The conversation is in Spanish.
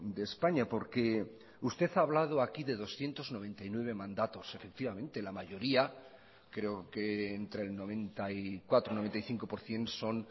de españa porque usted ha hablado aquí de doscientos noventa y nueve mandatos efectivamente la mayoría creo que entre el noventa y cuatro o noventa y cinco por ciento son